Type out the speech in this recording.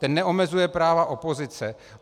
Ten neomezuje práva opozice.